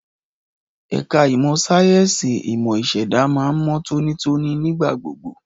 Ẹ̀ka ìmọ̀ sáyẹ́ǹsì ìmọ̀ ìṣẹ̀dá máa ń mọ́ tónítóní nígbà gbogbo.